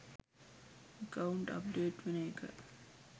Account update වෙන එක.